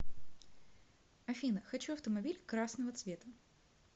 афина хочу автомобиль красного цвета